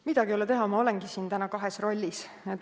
Midagi ei ole teha, ma olengi siin täna kahes rollis.